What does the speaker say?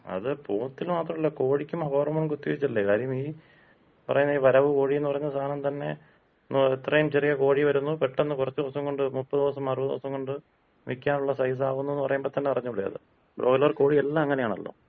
അത് പോത്തിന് മാത്രല്ല. കോഴിക്കും ഹോർമോൺ കുത്തിവച്ചല്ലെ? കാര്യം ഈ പറയുന്ന ഈ വരവ് കോഴിന്ന് പറയുന്ന സാനം തന്നെ എത്രേം ചെറിയ കോഴി വരുന്നു, പെട്ടെന്ന് കൊറച്ച് ദിവസം കൊണ്ട് മുപ്പത് ദിവസം അറുപത് ദിവസം കൊണ്ട് വിക്കാനുള്ള സൈസ് ആവുന്നുന്ന് പറയുമ്പോ തന്നെ അറിഞ്ഞൂടെ അത്. ബ്രോയിലർ കോഴിയെല്ലാം അങ്ങനെയാണല്ലോ.